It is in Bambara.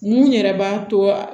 Mun yɛrɛ b'a to a